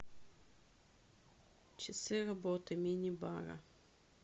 часы работы мини бара